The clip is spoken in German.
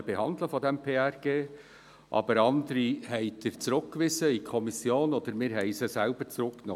Andere wiederum haben Sie in die Kommission zurückgewiesen oder wir haben diese selber zurückgenommen.